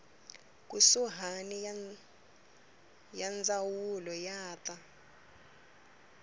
kusuhani ya ndzawulo ya ta